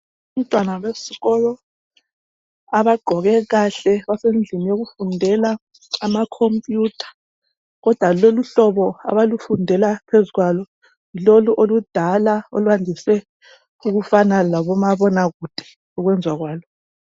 Abantwana besikolo abagqoke kahle basendlini yokufundela ama computer. Kodwa loluhlobo abalufundela phezu kwalo yilolu oludala. Olwandise ukufana laboma bonakude ukwenziwa kwalo.